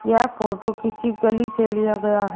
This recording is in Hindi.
यह फोटो किसी गली से लिया गया है।